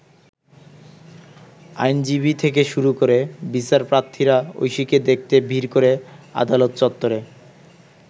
আইনজীবী থেকে শুরু করে বিচারপ্রার্থীরা ঐশীকে দেখতে ভিড় করে আদালত চত্বরে।